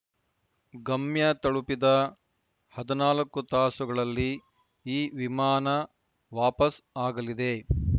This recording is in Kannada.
ಗಮ್ಯ ತಲುಪಿದ ಹದಿನಾಲ್ಕು ತಾಸುಗಳಲ್ಲಿ ಈ ವಿಮಾನ ವಾಪಸ್‌ ಆಗಲಿದೆ